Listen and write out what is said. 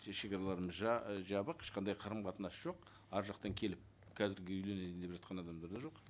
шекараларымыз жабық ешқандай қарым қатынас жоқ әр жақтан келіп қазіргі үйленейін деп жатқан адамдар да жоқ